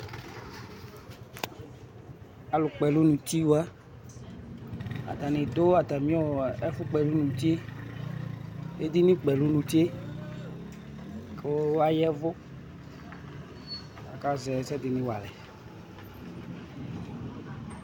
Alu kpɔ ɛlu nuti wa atani adu atami ɛfu kpɔ nu uti edini kpɔ ɛlu nutie ku ayɛvu akazɛ ɛsɛdini walɛ